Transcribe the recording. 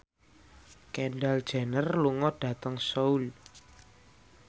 Kendall Jenner lunga dhateng Seoul